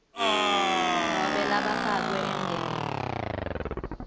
nobe labafakwe emndenini